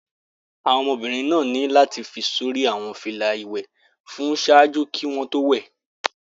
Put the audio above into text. Awọn ọmọbirin ni lati fi sori awọn fila iwẹ wọn ṣaaju ki wọn to wẹ